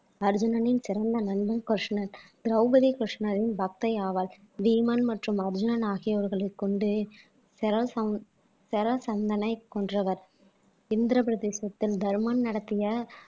அர்ஜுனனின் சிறந்த நண்பன் கிருஷ்ணன் திரௌபதி கிருஷ்ணரின் பக்தை ஆவாள் பீமன் மற்றும் அர்ஜுனன் ஆகியோர்களை கொண்டு செறசந் செறசந்தனை கொன்றவர் இந்திரபிரதேசத்தில் தருமன் நடத்திய